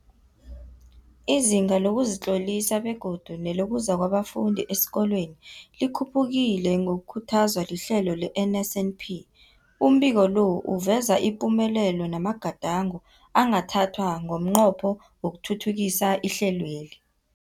Izinga lokuzitlolisa begodu nelokuza kwabafundi esikolweni likhuphukile ngokukhuthazwa lihlelo le-NSNP. Umbiko lo uveza ipumelelo namagadango angathathwa ngomnqopho wokuthuthukisa ihlelweli.